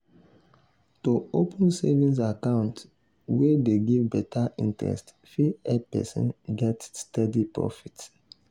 to open savings account wey dey give better interest fit help person get steady profit.